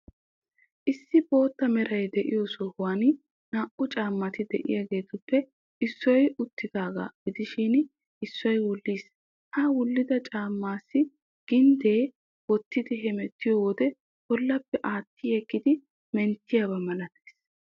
Issi bootta meray de'iyoo sohuwan naa''u caammati de'iyaageetuppe issoy uttiidaaga gidishin, issoy wulliis. Ha wullida caammaassi ginddee, wottidi hemettiyoo wode bollappe aattiyeggidi menttiyaaba malatees.